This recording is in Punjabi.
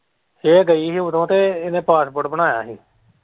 ਉਹ ਗਈ ਹੀ ਉਦੋਂ ਤੇ ਇਹਨੇ passport ਬਣਾਇਆ ਹੀ।